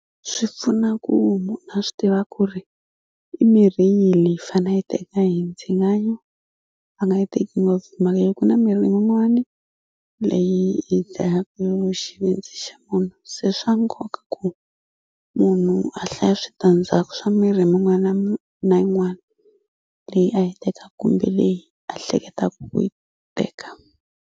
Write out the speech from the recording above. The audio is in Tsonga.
Swi pfuna ku munhu a swi tiva ku ri i mirhi yihi leyi fane a yi teka hi ndzingano a nga yi teki ngopfu hi mhaka ya ku na mirhi yin'wani leyi yi dlayaku xivindzi xa munhu se swa nkoka ku munhu a hlaya switandzhaku swa mirhi min'wana na yin'wana leyi a yi teka kumbe leyi a hleketa ku yi teka.